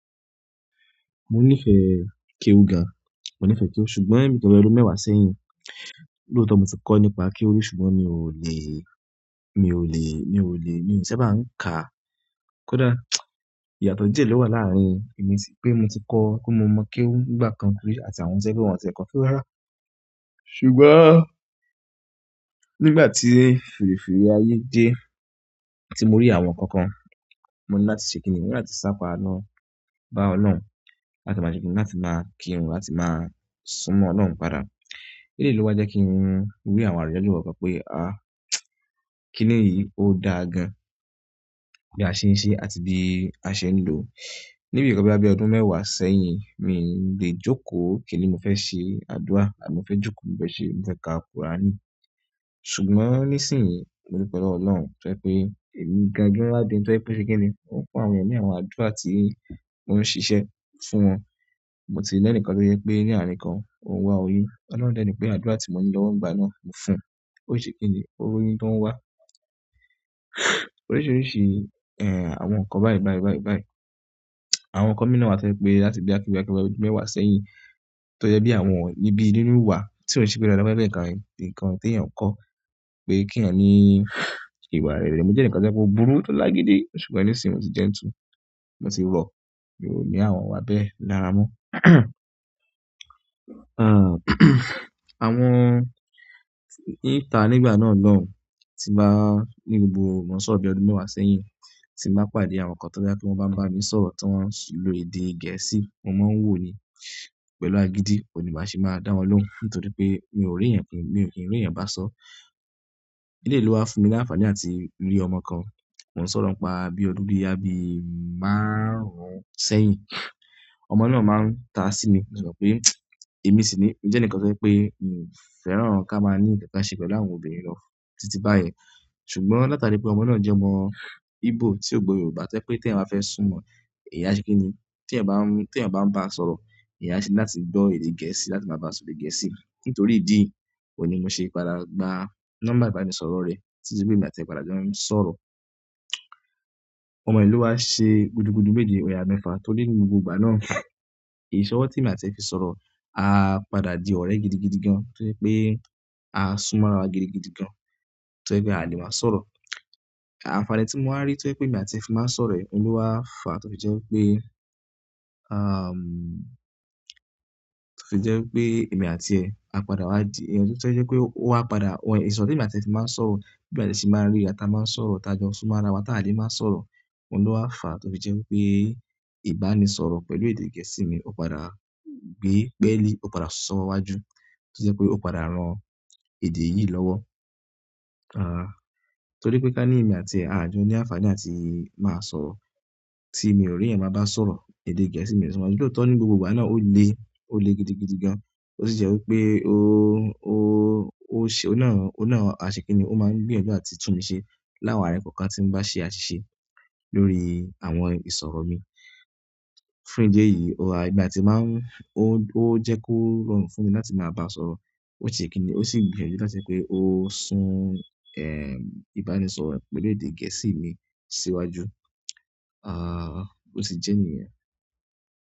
Mo nífẹ̀ẹ́ kéwúgà, mo nífẹ̀ẹ́ kéwú, ṣùgbọ́n nkan bi ọdún mẹ́wàá sẹ́yìn, lóòótọ́ mo ti kọ́ nípa kéwú, ṣùgbọ́n mi ò lè, mi ò lè, mi ò lè, mi ò ṣẹ́ bá ń ka. Kódà ìyàtọ̀ díẹ̀ ló wà láàrin èmi pé mo ti kọ́, pé mo mọ̀ kéwú nígbà kan rí àti àwọn tẹ́ẹ́ tí wọ́n ti kọ́. Kewu rara. Ṣùgbọ́n nígbà tí firifiri ayé dé, tí mo rí àwọn ǹkan kan, mọ̀ ni láti ṣe kíni, mo ni láti sápada lo bá Ọlọ́run, láti máa ṣe kíni, láti máa kírun, láti máa súnmọ́ Ọlọ́run padà. Èleyi ló wá jẹ́ kí n rí àwọn àrídá je kàn kan pé, ah! Kíni yí ó da gan-an bí a ṣe ń ṣe àti bí a ṣe ń lò. Níbi nkan bí ọdún mẹ́wàá sẹ́yìn, mi ò lè jókòó kíni mo fẹ́ ṣe àdúrà àbí mo fẹ́ jókòó mo fẹ́ ṣe mo fe ka Quran. Ṣùgbọ́n nísìnyí, mo du pẹ̀ lowo Ọlọ́run tó jẹ́ pé èmi ń gangan wa di ẹni tó jẹ́ pé oun ṣe kíni ó fún àwọn eeyan ni àwọn àdúrà tí wọ́n ń ṣiṣẹ́ fún wọn. Moti ni ẹni kan to jepe ni arin kan on wa oyun ọlọ́run de ni pe àdúrà ti mo ni lowo ngba na mo fún. Ó si ṣe kíni, ó royun tó ń wá. Oríṣiríṣi, ẹ́h, àwọn ǹkan báyìí, báyìí, báyìí, báyìí. Àwọn ǹkan mi náà wá tó jẹ́ pé láti boya bí ọdún mẹ́wàá sẹ́yìn tó jẹ́ bí àwọn ọ̀ní bí nínú wa tí ò sì gbéra lọ́wọ́ pé ẹ̀ẹ̀kan nǹkan tí ẹ̀yàn ń kọ́ pé kí ẹ̀yàn ní ìwà rere. Mo jẹ́ eǹikan to jepe obùrú tó lágídí, ṣùgbọ́n nísìnyí mo ti dentle, mo ti rọ, mio ní àwọn wa bẹ́ẹ̀ lára mọ́. Àwọn, níta nígbà náà lọ́hùn, tí n bàá ní gbogbo mon sọ̀rọ̀ bí ọdún mẹ́wàá sẹ́yìn tí n bàá pàdé àwọn ǹkan tó jẹ́ pé wọ́n bá ń bá mi sọ̀rọ̀ tí wọ́n ń lo èdè gẹ̀ẹ́sì, mo máa ń wòó ni pẹ̀lú agídí, oun ní máa se má da wọn lóhùn nítorí pé mi ò rí ẹ̀yàn, mi ò kín ri ẹ̀yàn bá sọ̀rọ̀. Eleyi lo wá fún mi ní àǹfàní láti rí ọmọ kan, mo ń sọ̀rọ̀ ń pa bí ọdún boyá bí márùn-ún sẹ́yìn. Ọmọ náà máa ń ta sí mi, mo si mo pé èmi sì ni, mo jẹ́ eǹikan tó jẹ́ pé mi ò fẹ́ràn kí a máa ní nkan kan ṣe pẹ̀lú àwọn obìnrin lọ títí báyìí. Ṣùgbọ́n latari pe ọmọ na je ọmọ igbo tio gbo yorùbá to jepe ti eeyan be fe sun mo eeyan ase kini te eyan ba n ba sọ̀rọ̀ eyan ni láti gbo èdè gẹ̀ẹ́sì láti ma ba so èdè gẹ̀ẹ́sì. Nítorí ìdí yìí òun ní mo ṣe padà gba nọ́mbà ìbánisọ̀rọ̀ rẹ̀ títí pé emi àti ẹ padà jo ń sọ̀rọ̀. Ọmọyi lo wá ṣe gudugudu méje yayà mẹ́fa torí ní gbogbo ìgbà náà, ìṣọwọ́ tí èmi àti ẹ fi sọ̀rọ̀ á padà di ọ̀rẹ́ gidigidi gan-an tó jẹ́ pé a súnmọ́ ara wa gidigidi gan-an tó jẹ́ pé a lè máa sọ̀rọ̀. Àǹfààní ti mo wa ri to jepe emi àti e fi maa n sọ̀rọ̀ yi lowa fa to fi je wípé emi àti e ìṣọ̀rọ̀ tí èmi àti ẹ ti máa ń sọ̀rọ̀ bí àti ṣe máa ń rí ara ti a máa ń sọ̀rọ̀, t'a jọ súnmọ́ ara wa, t'a lè máa sọ̀rọ̀, oun lo fá tó fi jẹ́ pé ìbánisọ̀rọ̀ pẹ̀lú èdè Gẹ̀ẹ́sì mi ó padà gbe pẹ́lì, ó padà sọwo wájú tó jẹ́ pé ó padà ran èdè yìí lọ́wọ́. Àh, torí pé ká ní èmi àti ẹ a jọ ní àǹfàní láti máa sọ̀rọ̀, tí èmi ò rí ẹ̀yàn bá ń bá sọ̀rọ̀ èdè Gẹ̀ẹ́sì mi nítorí tó ní gbogbo ìgbà náà ó le, ó le gidigidi gan-an, ó sì jẹ́ pé ó, ó, ó ṣe, ó náà, ó náà ṣe kíni, ó máa ń gbìyànjú àti tún mi ṣe láwọn àárín kankan tí n bá ṣe àṣìṣe lórí àwọn ìsọ̀rọ̀ mi. Fún ìdí èyí ó ha bí àti máa ń, ó, ó jẹ́ kó rọrùn fún mi láti máa bá a sọ, ó ṣe kíni, ó sì gbìyànjú láti pé ó sún, ẹ́m, ìbánisọ̀rọ̀ pẹ̀lú èdè Gẹ̀ẹ́sì mi síwájú. Àh, ó se jẹ́ nìyẹn.